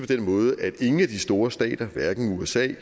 den måde at ingen af de store stater hverken usa